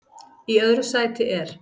Í öðru sæti er